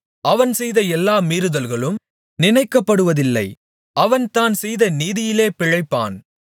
அவன் செய்த எல்லா மீறுதல்களும் நினைக்கப்படுவதில்லை அவன் தான் செய்த நீதியிலே பிழைப்பான்